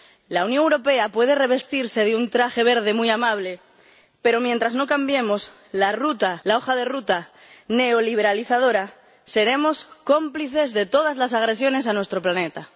La Unión Europea puede revestirse de un traje verde muy amable, pero mientras no cambiemos la hoja de ruta neoliberalizadora, seremos cómplices de todas las agresiones a nuestro planeta.